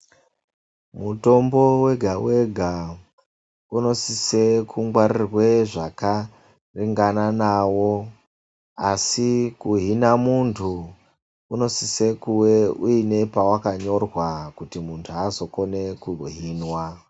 Mutombo wega-wega, unosisa kungwarirwa zvakaringana nawo, asi kuhina munhu unosisa kuwe uine pawakanyorwa, kuti muntu azokona kuhinwa.